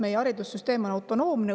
Meie haridussüsteem on autonoomne.